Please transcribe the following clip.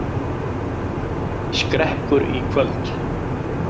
Skrekkur í kvöld